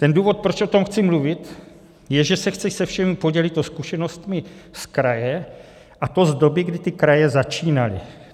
Ten důvod, proč o tom chci mluvit, je, že se chci se všemi podělit o zkušenosti z kraje, a to z doby, kdy ty kraje začínaly.